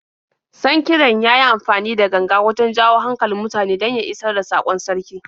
Sankiran ya yi amfani da ganga wajen jawo hankalin mutane don ya isar da saƙon sarki.